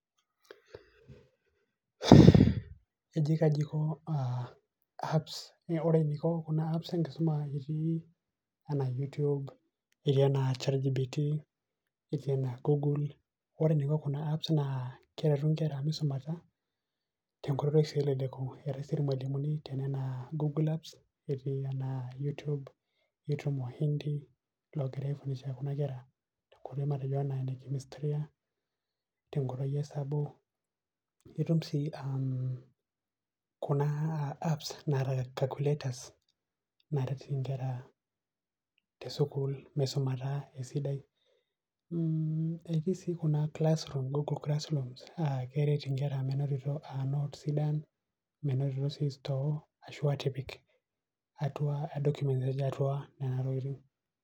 ore eniko kuna apps enkisuma, etii anaa youtube, etii anaa chatgpt, etii ana google. ore eneiko kuna apps naa, keretu nkera misumata tenkoitoi sidai, eretu sii lelo malimuni misumata eitumia wahindi tenkoitoi osabu, itum sii kuna, calculators naret inkera misumata esidai. etii sii kuna google classrooms keret inkera menotito notes sidan.